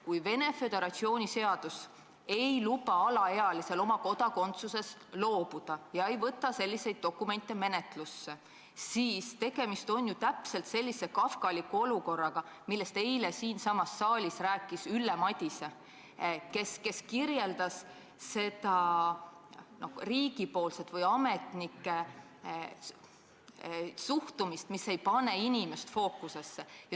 Kui Venemaa Föderatsiooni seadus ei luba alaealisel Venemaa kodakondsusest loobuda ega võta selliseid dokumente menetlusse, siis on tegemist samasuguse kafkaliku olukorraga, millest eile siinsamas saalis rääkis Ülle Madise, kes kirjeldas riigi või ametnike suhtumist, mis jätab inimese fookusest välja.